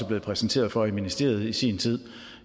blevet præsenteret for i ministeriet i sin tid